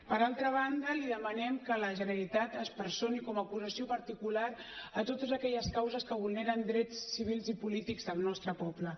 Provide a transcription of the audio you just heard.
per altra banda li demanem que la generalitat es personi com a acusació particular a totes aquelles causes que vulneren drets civils i polítics del nostre poble